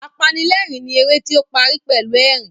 Apanilẹ́rìn ni eré tí ó parí pẹ̀lú ẹ̀rín